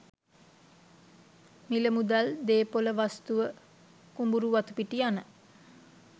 මිල මුදල්, දේපොළ වස්තුව, කුඹුරු වතුපිටි යන